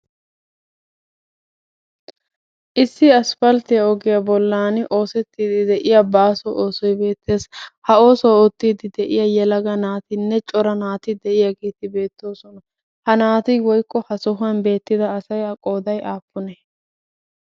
Issi asphaltiya oggiya bollan oosetiidi de'iya baaso oosoy beetees. Ha oosuwa ootiidi de'iya yelaga naatinne cora naati de'iyaageeti beetoososna. Ha naati woykko ha sohuwan beetida asaa qooay aapunee?